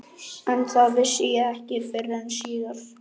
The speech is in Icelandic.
Stígurinn var lagður hellum og greiðfær.